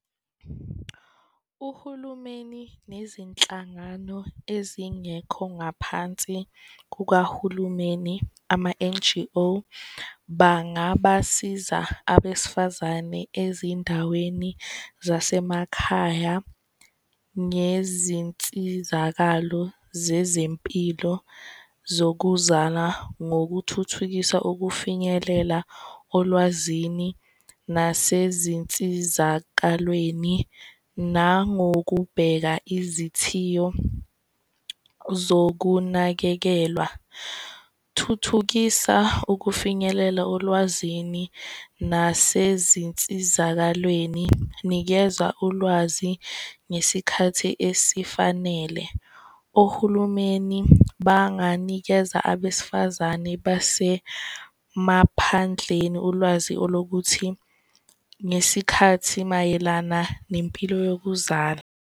Uhulumeni nezinhlangano ezingekho ngaphansi kukahulumeni, ama-N_G_O, bangabasiza abesifazane ezindaweni zasemakhaya ngezinsizakalo zezempilo zokuzala ngokuthuthukisa ukufinyelela olwazini nasezinsizakalweni nangokubheka izithiyo zokunakekelwa. Thuthukisa ukufinyelela olwazini nasezinsizakalweni, nikeza ulwazi ngesikhathi esifanele. Ohulumeni banganikeza abesifazane basemaphandleni ulwazi olokuthi ngesikhathi mayelana nempilo yokuzala.